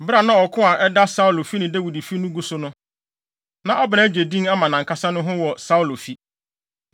Bere a na ɔko a ɛda Saulo fi ne Dawid fi no gu so no, na Abner agye din ama nʼankasa ne ho wɔ Saulo fi.